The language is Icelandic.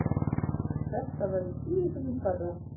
Þetta verður tíu sinnum stærra.